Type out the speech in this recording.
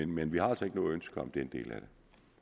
men vi har altså ikke noget ønske om den del af det